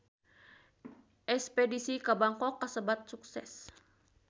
Espedisi ka Bangkok kasebat sukses